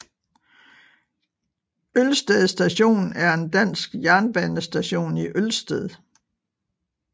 Ølsted Station er en dansk jernbanestation i Ølsted